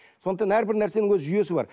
сондықтан әрбір нәрсенің өз жүйесі бар